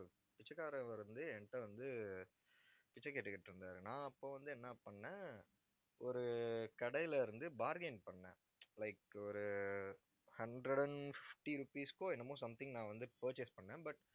பிச்சைக்காரர் ஒருவர் வந்து, என் கிட்ட வந்து, பிச்சை கேட்டுக்கிட்டு இருந்தாரு நான் அப்போ வந்து என்ன பண்ணேன் ஒரு கடையில இருந்து bargain பண்ணேன். like ஒரு hundred and fifty rupees க்கும் என்னமோ something நான் வந்து purchase பண்ணேன் but